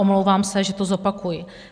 Omlouvám se, že to zopakuji.